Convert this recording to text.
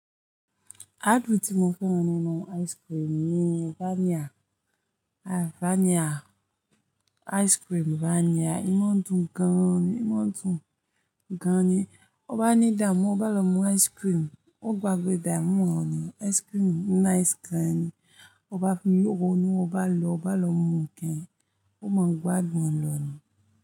Ápu tí mo fẹ́ rán nínú ice cream ni vanilla. Ice cream vanilla. Ímọ̀ dùn gan-an ni, ìmọ̀ dùn gan ni. O bá ní damọ́, o bá lọ mú ice cream, o gbágbé damọ́ rẹ. Ice cream nice gan ni. O bá fi oóró inú ọ bá lọ, o bá lọ mú ǹkan, o máa gbá dun lọ̀ni.